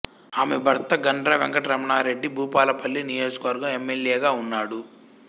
ఆమె భర్త గండ్ర వెంకట రమణారెడ్డి భూపాలపల్లి నియోజకవర్గం ఎమ్మెల్యేగా ఉన్నాడు